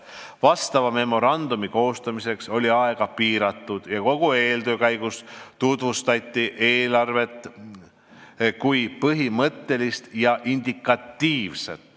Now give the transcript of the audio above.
Vastava memorandumi koostamiseks oli aeg piiratud ja kogu eeltöö käigus tutvustati eelarvet kui põhimõttelist ja indikatiivset.